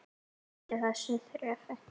Hættu þessu þrefi!